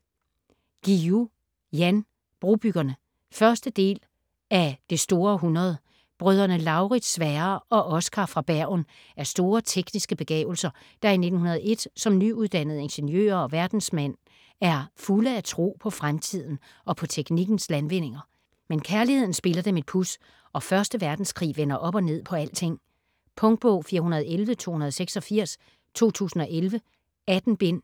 Guillou, Jan: Brobyggerne 1. del af Det store århundrede. Brødrene Lauritz, Sverre og Oscar fra Bergen er store tekniske begavelser, der i 1901 som nyuddannede ingeniører og verdensmænd er fulde af tro på fremtiden og på teknikkens landvindinger. Men kærligheden spiller dem et puds, og første verdenskrig vender op og ned på alting. Punktbog 411286 2011. 18 bind.